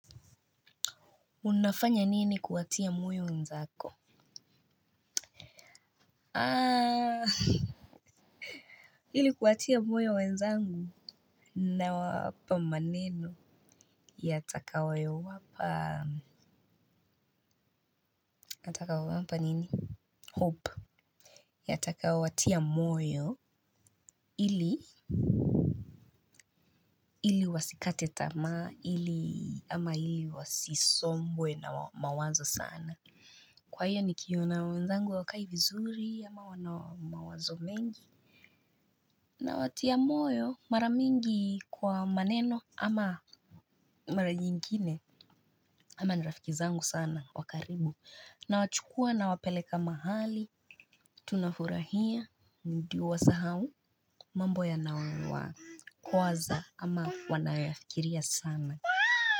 Unafanya nini kuwatia moyo wenzako? Ili kuwatia moyo wenzangu nawapa maneno. Yatakayo wapa, yatakayo wapa nini? Hope. Yatakayo watia moyo ili wasikate tama ili ama ili wasisombwe na mawazo sana. Kwa hiyo nikiona wenzangu hawakai vizuri ama wana mawazo mengi nawatia moyo mara mingi kwa maneno ama mara nyingine kama ni rafiki zangu sana wa karibu nawachukua nawapeleka mahali tunafurahia ndio wasahau mambo yanayo wakwaza ama wanayoyafikiria sana.